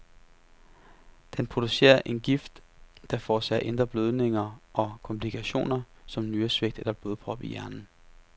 Den producerer en gift, der forårsager indre blødninger og komplikationer som nyresvigt eller blodpropper i hjernen.